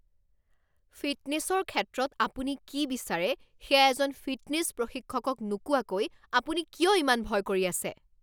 ফিটনেছৰ ক্ষেত্ৰত আপুনি কি বিচাৰে সেয়া এজন ফিটনেছ প্ৰশিক্ষকক নোকোৱাকৈ আপুনি কিয় ইমান ভয় কৰি আছে?